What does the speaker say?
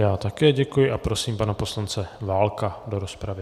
Já také děkuji a prosím pana poslance Válka do rozpravy.